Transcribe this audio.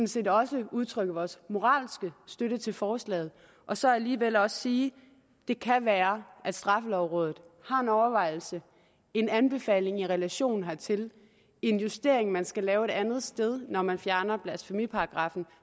set også udtrykke vores moralske støtte til forslaget og så alligevel også sige det kan være at straffelovrådet har en overvejelse en anbefaling i relation hertil en justering man skal lave et andet sted når man fjerner blasfemiparagraffen